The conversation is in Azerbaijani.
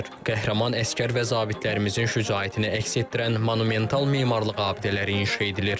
Qəhrəman əsgər və zabitlərimizin şücaətini əks etdirən monumental memarlıq abidələri inşa edilir.